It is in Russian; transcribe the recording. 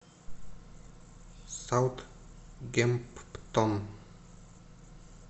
саутгемптон